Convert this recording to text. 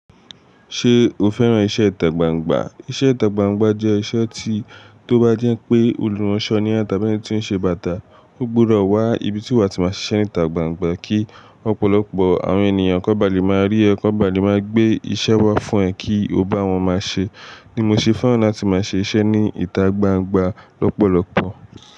Ṣé o fẹ́ràn iṣẹ́ ìtàgbàǹgbà? Iṣẹ́ ìtàgbàǹgbà jẹ́ iṣẹ́ tí, tó bá jẹ́ pé olùránṣọ ni ẹ tàbí ẹni tí ó ń ṣe bàtà, ó gbúdọ̀ wá ibi tí wàá ti máa ṣiṣẹ́ ìtàgbàǹgbà kí Ọ̀pọ̀lọpọ̀ àwọn ènìyàn kán baà lè máa rí ẹ, kán baà lè máa gbé iṣẹ́ wá fún ẹ kí o bá wọn máa ṣe. Ní mo ṣe fẹ́ràn láti máa ṣe iṣẹ́ ní ìtàgbàǹgbà lọ́pọ̀lọpọ̀.